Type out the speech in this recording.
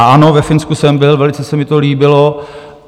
A ano, ve Finsku jsem byl, velice se mi to líbilo.